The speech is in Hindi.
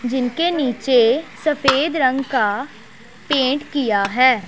जिनके नीचे सफेद रंग का पेंट किया हैं।